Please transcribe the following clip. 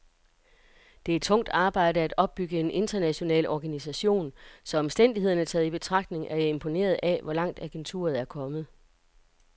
Det er tungt arbejde at opbygge en international organisation, så omstændighederne taget i betragtning er jeg imponeret af, hvor langt agenturet er kommet.